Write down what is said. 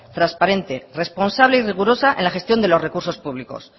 transparente responsable y rigurosa en la gestión de los recursos públicos